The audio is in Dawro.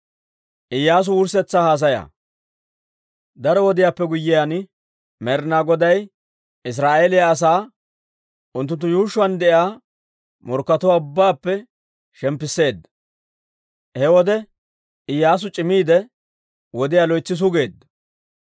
Daro wodiyaappe guyyiyaan, Med'ina Goday Israa'eeliyaa asaa unttunttu yuushshuwaan de'iyaa morkkatuwaa ubbaappe shemppisseedda. He wode Iyyaasu c'imiide, wodiyaa loytsi sugeedda.